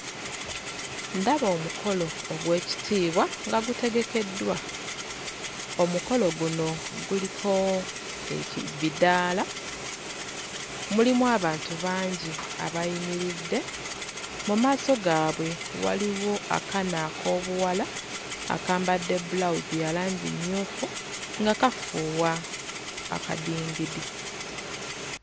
Ndaba omukolo ogw'ekitiibwa nga gutegekeddwa. Omukolo guno guliko eki... bidaala, mulimu abantu bangi abayimiridde. Mu maaso gaabwe waliwo akaaana ak'obuwala akambadde bulawuzi ya langi mmyufu, nga kafuuwa akadingidi.